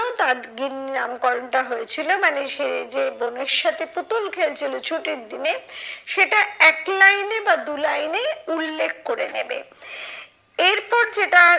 তার গিন্নি নামকরণটা হয়েছিল। মানে সে যে বোনের সাথে পুতুল খেলছিল ছুটির দিনে, সেটা এক line এ বা দু line এ উল্লেখ করে নেবে। এরপর যেটার